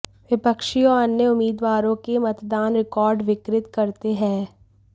विपक्षी और अन्य उम्मीदवारों के मतदान रिकॉर्ड विकृत करते हैं